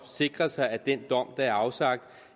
sikre sig at den dom der er afsagt